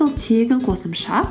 ол тегін қосымша